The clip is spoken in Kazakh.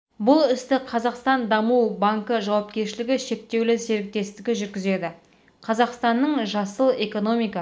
бұл істі қазақстан даму банкі жауапкершілігі шектеулі серіктестігі жүргізеді қазақстанның жасыл экономика